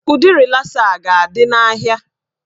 Ụdị rịlasa a ga-adị n'ahịa